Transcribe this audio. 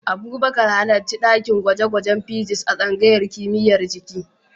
Abubakar, halarci dakin gwaje-gwajen Physics a tsangayar kimiyyar jiki.